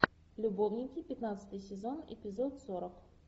любовники пятнадцатый сезон эпизод сорок